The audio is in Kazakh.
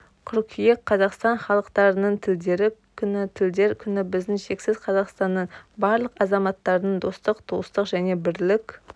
қыркүйек қазақстан халықтарының тілдері күні тілдер күні біздің шексіз қазақстанның барлық азаматтарының достық туыстық және бірлік